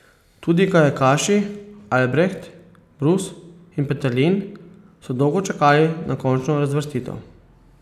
Tudi kajakaši Albreht, Brus in Peterlin so dolgo čakali na končno razvrstitev.